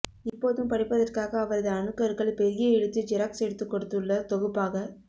இப்போதும் படிப்பதற்க்காக அவரது அணுக்கர்கள் பெரிய எழுத்தில் ஜெராக்ஸ் எடுத்து கொடுத்துள்ள தொகுப்பாக